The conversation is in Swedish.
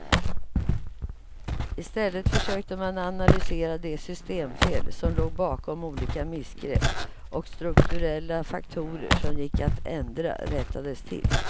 I stället försökte man analysera de systemfel som låg bakom olika missgrepp, och strukturella faktorer som gick att ändra rättades till.